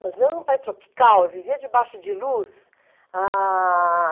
Nós vivemos em um país tropical, eu vivia debaixo de luz. Ah...